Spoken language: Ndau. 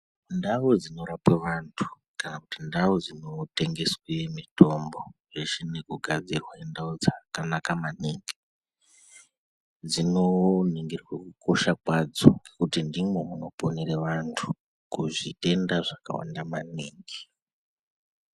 Ndau dzinorapwa vantu kana kuti ndau dzinotengeswe mitombo zveshe nekugadzirwa indau dzakanaka maningi dzinoningirwa kukosha kwadzo kuti ndimo munoponera vantu kuzvitenda zvakawanda maningi